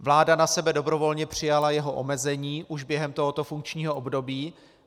Vláda na sebe dobrovolně přijala jeho omezení už během tohoto funkčního období.